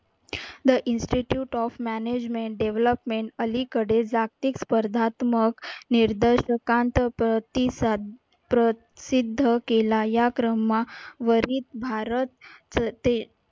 the institute of management development अलीकडे जागतिक स्पर्धात्मक प्रसिद्ध केला. या क्रमावरी भारत